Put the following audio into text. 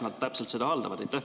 Kuidas täpselt nad seda haldavad?